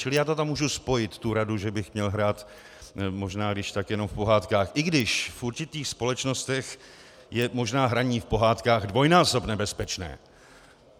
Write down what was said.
Čili já to tam můžu spojit, tu radu, že bych měl hrát možná když tak jenom v pohádkách, i když v určitých společnostech je možná hraní v pohádkách dvojnásob nebezpečné.